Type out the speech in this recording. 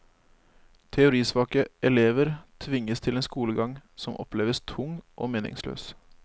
Teorisvake elever tvinges til en skolegang som oppleves tung og meningsløs.